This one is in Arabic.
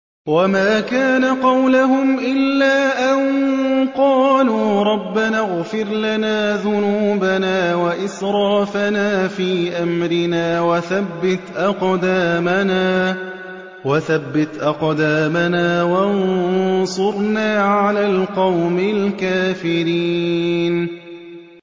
وَمَا كَانَ قَوْلَهُمْ إِلَّا أَن قَالُوا رَبَّنَا اغْفِرْ لَنَا ذُنُوبَنَا وَإِسْرَافَنَا فِي أَمْرِنَا وَثَبِّتْ أَقْدَامَنَا وَانصُرْنَا عَلَى الْقَوْمِ الْكَافِرِينَ